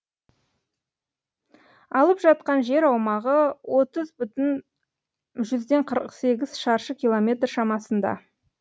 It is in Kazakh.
алып жатқан жер аумағы отыз бүтін жүзден қырық сегіз шаршы километр шамасында